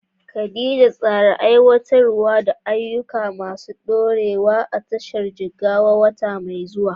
Khadija, tsara aiwatar da ayyuka masu ɗorewa a tashar ruwan Jigawa a wata mai zuwa.